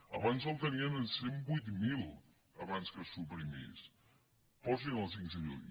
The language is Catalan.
abans el tenien en cent i vuit mil abans que se suprimís posin lo a cinc cents miler